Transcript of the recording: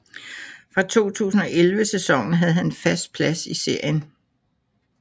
Fra 2011 sæsonen havde han en fast plads i serien